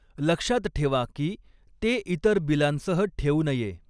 लक्षात ठेवा की ते इतर बिलांसह ठेवू नये.